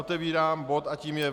Otevírám bod a tím je